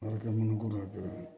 Wari tɛmɛnen kɔ dɔrɔn